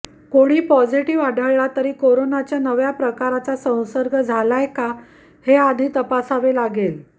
कोणी पॉझिटिव्ह आढळला तरी कोरोनाच्या नव्या प्रकाराचा संसर्ग झालाय का हे आधी तपासावे लागेल